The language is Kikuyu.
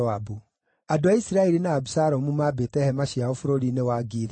Andũ a Isiraeli na Abisalomu maambĩte hema ciao bũrũri-inĩ wa Gileadi.